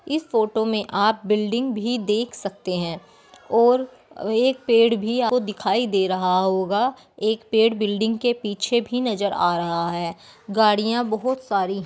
इस फोटो मे आप बिल्डिंग भी देख सकते हैं और एक पेड़ भी आपको दिखाई दे रहा होगा एक पेड़ बिल्डिंग के पीछे भी नजर आ रहा है। गाड़ियाँ बहोत सारी --